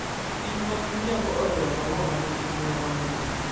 kicho mag miriambo ohero maua ma nigi suya mamit.